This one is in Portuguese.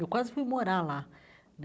Eu quase fui morar lá né.